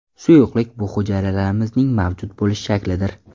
Suyuqlik bu hujayralarimizning mavjud bo‘lish shaklidir.